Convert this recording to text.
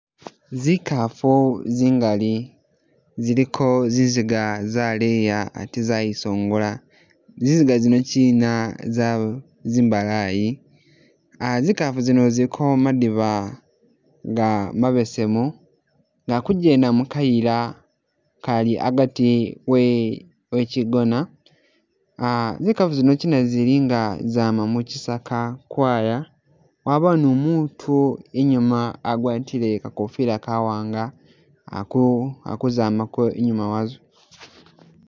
Zikaafu zingaali ziliko zizinga zaleya ate zayisongola, zizinga zino chiina zawu zimbalayi aa zikaafu zino ziliko madiba nga mabesemu nga ku'jenda mukayila gali agati e echidono aa zikaafu zino chiina zili nga zama muchisaaka kwaya, wabawo nu mutu i'nyuma wagwatile kakofila kawaanga ali ku ali kuzamako i'nyuma wazo